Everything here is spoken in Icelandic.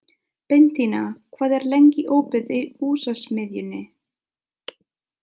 Bentína, hvað er lengi opið í Húsasmiðjunni?